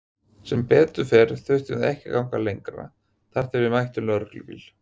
Sem betur fór þurftum við ekki að ganga lengi þar til við mættum lögreglubíl.